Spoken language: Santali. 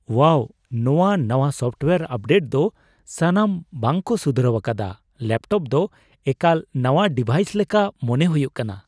ᱳᱣᱟᱣ, ᱱᱚᱶᱟ ᱱᱟᱶᱟ ᱥᱳᱯᱴᱳᱭᱟᱨ ᱟᱯᱰᱮᱴ ᱫᱚ ᱥᱟᱱᱟᱢ ᱵᱟᱜ ᱠᱚ ᱥᱩᱫᱷᱨᱟᱹᱣ ᱟᱠᱟᱫᱟ ᱾ ᱞᱮᱹᱯᱴᱚᱯ ᱫᱚ ᱮᱠᱟᱞ ᱱᱟᱶᱟ ᱰᱤᱵᱷᱟᱭᱤᱥ ᱞᱮᱠᱟ ᱢᱚᱱᱮ ᱦᱩᱭᱩᱜ ᱠᱟᱱᱟ ᱾